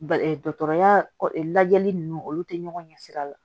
dɔkɔtɔrɔya lajɛli nunnu olu te ɲɔgɔn ɲɛ sira la